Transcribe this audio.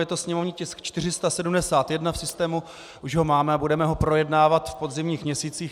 Je to sněmovní tisk 471, v systému už ho máme a budeme ho projednávat v podzimních měsících.